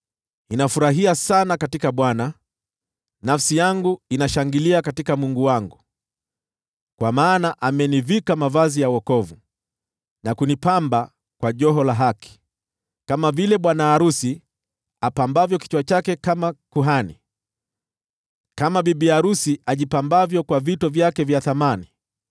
Ninafurahia sana katika Bwana , nafsi yangu inashangilia katika Mungu wangu. Kwa maana amenivika mavazi ya wokovu, na kunipamba kwa joho la haki, kama vile bwana arusi apambavyo kichwa chake kama kuhani, na kama bibi arusi ajipambavyo kwa vito vyake vya thamani.